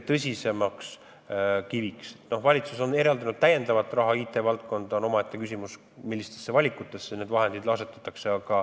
Valitsus on eraldanud IT-valdkonda täiendavat raha, aga omaette küsimus on, millised on valikud, kuhu need vahendid asetatakse.